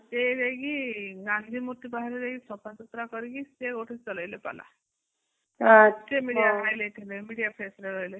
ସେ ଯାଇକି ଗାନ୍ଧୀ ମୂର୍ତି ପାଖରେ ଯାଇକି ସଫସୁତରା କରିକି ସେ ଗୋଟେ ଚଲେଇଲେ ପାଲା ସେ media highlight media face ରେ ରହିଲେ